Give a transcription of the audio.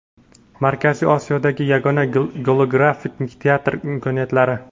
Markaziy Osiyodagi yagona golografik teatr imkoniyatlari.